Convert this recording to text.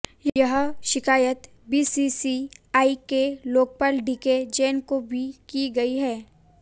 यह शिकायत बीसीसीआई के लोकपाल डीके जैन को भी की गई है